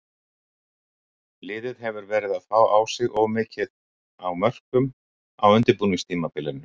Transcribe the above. Liðið hefur verið að fá á sig of mikið á mörkum á undirbúningstímabilinu.